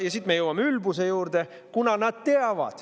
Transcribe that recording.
Ja siit me jõuame ülbuse juurde.